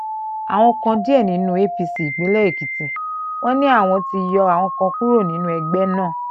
àwọn kan dìde nínú apc ìpínlẹ̀ èkìtì wọn ni àwọn ti yọ àwọn kan kúrò nínú ẹgbẹ́ náà